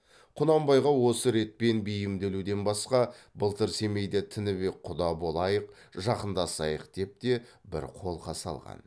құнанбайға осы ретпен бейімделуден басқа былтыр семейде тінібек құда болайық жақындасайық деп те бір қолқа салған